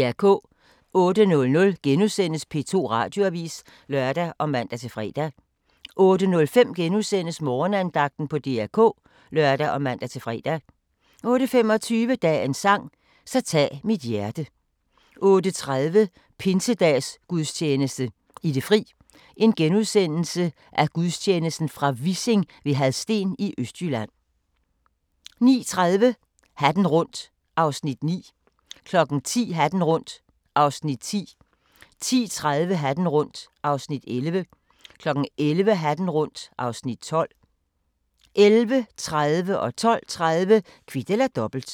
08:00: P2 Radioavis *(lør og man-fre) 08:05: Morgenandagten på DR K *(lør og man-fre) 08:25: Dagens sang: Så tag mit hjerte 08:30: Pinsedagsgudstjeneste i det fri, fra Vissing ved Hadsten, Østjylland * 09:30: Hatten rundt (Afs. 9) 10:00: Hatten rundt (Afs. 10) 10:30: Hatten rundt (Afs. 11) 11:00: Hatten rundt (Afs. 12) 11:30: Kvit eller Dobbelt 12:30: Kvit eller Dobbelt